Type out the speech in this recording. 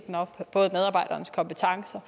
fra